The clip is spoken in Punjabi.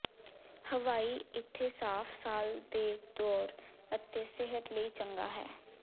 ਹਵਾਈ ਇੱਥੇ ਸਾਫ਼ ਸਾਲ ਦੇ ਦੌਰ ਅਤੇ ਸਿਹਤ ਲਈ ਚੰਗਾ ਹੈ